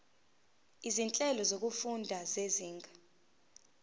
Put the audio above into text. izinhlelo zokufunda zezinga